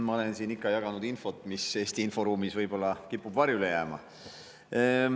Ma olen siin ikka jaganud infot, mis Eesti inforuumis võib-olla kipub varjule jääma.